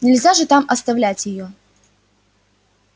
нельзя же там оставлять её